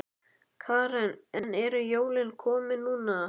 Karen: En eru jólin komin núna?